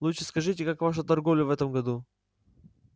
лучше скажите как ваша торговля в этом году